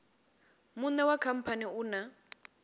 muṋe wa khamphani u na